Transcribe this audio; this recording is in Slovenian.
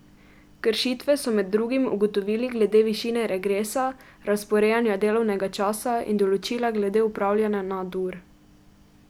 Kršitve so med drugim ugotovili glede višine regresa, razporejanja delovnega časa in določila glede opravljanja nadur.